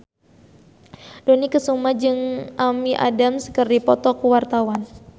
Dony Kesuma jeung Amy Adams keur dipoto ku wartawan